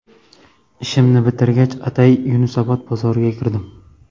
Ishimni bitirgach, atay Yunusobod bozoriga kirdim.